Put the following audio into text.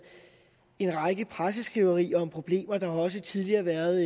en række presseskriverier om problemer og der har også tidligere været